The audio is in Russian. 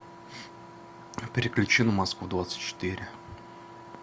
переключи на москву двадцать четыре